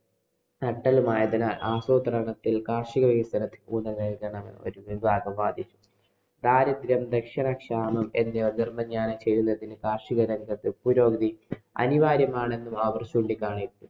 നട്ടെല്ലുമായതിനാല്‍ ആസൂത്രണത്തില്‍ കാര്‍ഷിക വികസനത്തിന് ഊന്നല്‍ നല്‍കാനാണ് ഒരു വിഭാഗം വാദിച്ചത്. ദാരിദ്ര്യം, ക്ഷാമം, എന്നിവ നിര്‍മ്മാര്‍ജനം ചെയ്യുന്നതിന് കാര്‍ഷികരംഗത്ത് പുരോഗതി അനിവാര്യമാണെന്ന് അവര്‍ ചൂണ്ടികാണിച്ചു.